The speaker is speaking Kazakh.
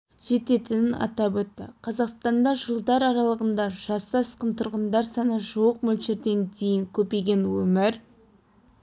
жететінін атап өтті қазақстанда жылдар аралығында жасы асқан тұрғындар саны жуық мөлшерден дейін көбейген өмір